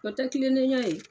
O tɛ kilennenya ye.